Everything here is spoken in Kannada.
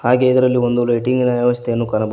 ಹಾಗೆ ಇದರಲ್ಲಿ ಒಂದು ಲೈಟಿಂಗಿನ ವ್ಯವಸ್ಥೆಯನ್ನು ಕಾಣಬಹುದು.